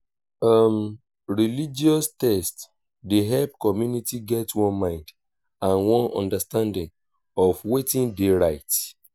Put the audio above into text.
um religius text dey help community get one mind and one understanding of wetin dey right